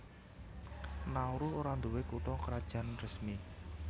Nauru ora nduwé kutha krajan resmi